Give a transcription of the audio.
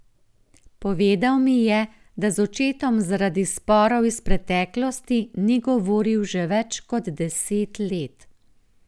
Povedal mi je, da z očetom zaradi sporov iz preteklosti ni govoril že več kot deset let.